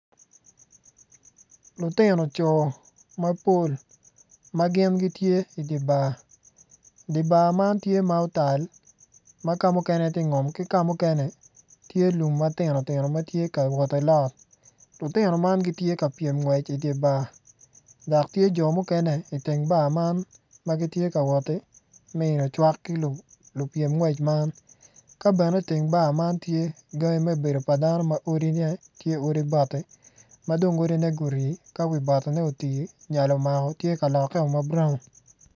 Lutino co mapol ma gin gitye i dye bar dye bar man tye ma otal ma kamukene tye ngom ki ka mukene tye lum matino tino ma tyeka wot ki lot. Lutino man gitye ka pyem gwec i dye bar dok tye jo mukene i teng bar man ma gitye ka wot ki miyo cwak ki lupyem ngwec man ka bene i teng bar man tye gangi me bedo pa dano ma odine gutii nyal omako tye ka lokke ma brawn.